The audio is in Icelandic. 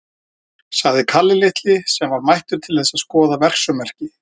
sagði Kalli litli, sem var mættur til þess að skoða verksummerki.